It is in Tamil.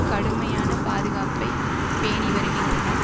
கடுமையான பாதுகாப்பை பேணிவருகின்றனர்